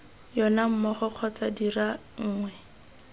yona mmogo kgotsa dira nngwe